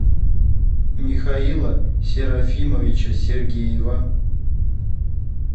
михаила серафимовича сергеева